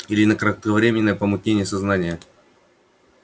или на кратковременное помутнение сознания